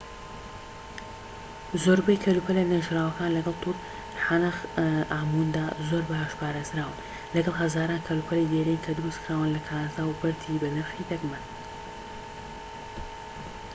زۆربەی کەلوپەلە نێژراوەکان لەگەڵ توت عەنخ ئامووندا زۆر باش پارێزراون لەگەڵ هەزاران کەلوپەلی دێرین کە دروستکراون لە کانزا و بەردی بەنرخی دەگمەن